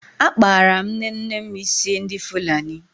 Akpara m nnenne m ísí ndị Fulani.